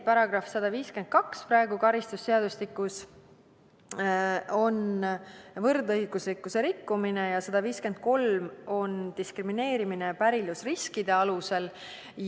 Praegu käsitleb karistusseadustiku § 152 võrdõiguslikkuse rikkumist ja § 153 diskrimineerimist pärilikkusriskide alusel.